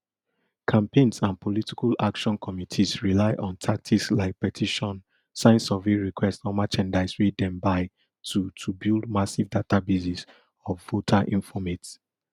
campaigns and political action committees rely on tactics like petition sign survey requests or merchandise wey dem buy to to build massive databases of voter informate